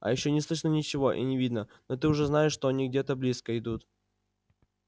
а ещё не слышно ничего и не видно но ты уже знаешь что они где-то близко идут